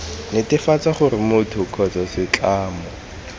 netefatsa gore motho kgotsa setlamo